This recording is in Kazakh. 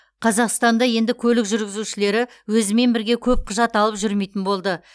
қазақстанда енді көлік жүргізушілері өзімен бірге көп құжат алып жүрмейтін болды